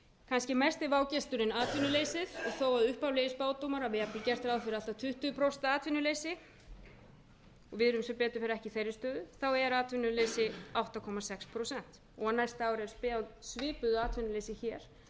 kannski er mesti vágesturinn atvinnuleysið og þó að upphaflegir spádómar hafi jafnvel gert ráð fyrir allt að tuttugu prósent atvinnuleysi og við erum sem betur fer ekki í þeirri sögu er atvinnuleysi átta komma sex prósent og næsta ár er spáð svipuðu atvinnuleysi hér